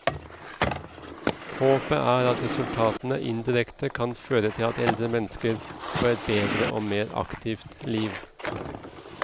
Håpet er at resultatene indirekte kan føre til at eldre mennesker får et bedre og mer aktivt liv.